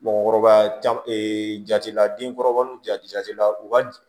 Mɔgɔkɔrɔba caman jate la denkɔrɔba n'u jatila u ka